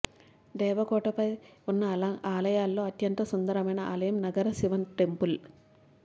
దేవ కోట ్టై లో ఉన్న ఆలయాలలో అత్యంత సుందరమైన ఆలయం నగర శివన్ టెంపుల్